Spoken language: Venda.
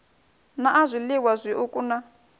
na a zwiliwa zwiuku na